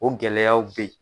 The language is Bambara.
O gɛlɛyaw bɛ ye.